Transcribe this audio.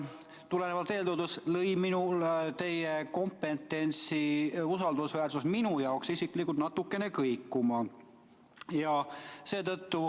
Tulenevalt eeltoodust lõi teie kompetentsi usaldusväärsus minu silmis isiklikult natukene kõikuma.